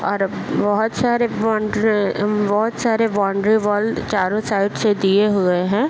और बहुत सारे बाउंड्री बहुत सारे बाउंड्री वॉल चारो साइड्स दिए हुए हैं।